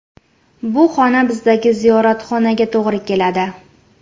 Bu xona bizdagi ziyoratxonaga to‘g‘ri keladi.